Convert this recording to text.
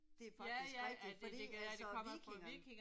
Det er faktisk rigtigt fordi altså vikingerne